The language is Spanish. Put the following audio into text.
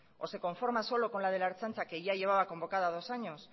o se conforma solo con la de la ertzaintza que ya llevaba convocada dos años